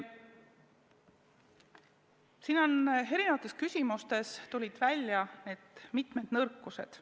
Siin tulid erinevate küsimustega seoses välja mitmed nõrkused.